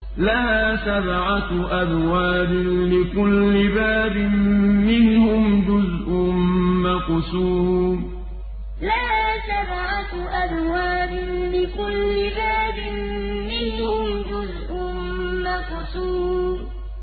لَهَا سَبْعَةُ أَبْوَابٍ لِّكُلِّ بَابٍ مِّنْهُمْ جُزْءٌ مَّقْسُومٌ لَهَا سَبْعَةُ أَبْوَابٍ لِّكُلِّ بَابٍ مِّنْهُمْ جُزْءٌ مَّقْسُومٌ